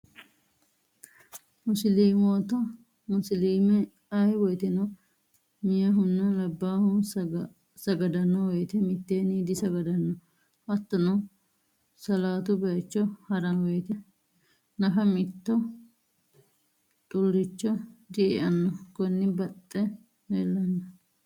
Musilimoota, musiliime aye woyitenno meyahunna labaahu sagadano woyite miteenni disagadanno hattonno salatu bayicho harano woyite nafa mito xulicho die'anno konini baxxe leelanno